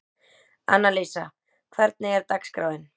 Annalísa, hvernig er dagskráin?